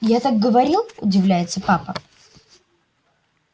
я так говорил удивляется папа